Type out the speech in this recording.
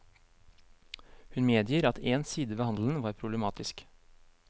Hun medgir at én side ved handelen var problematisk.